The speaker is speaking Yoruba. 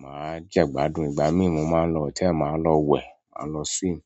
maa je ìgbádùn, ìgbà ma lo hotel ma lo we ma lo swim.